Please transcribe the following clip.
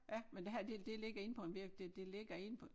Ja men det her det det ligger inde på en virk det det ligger inde på